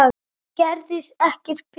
Gerast ekki betri.